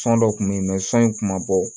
San dɔ kun bɛ yen sɔn in tun ma bɔ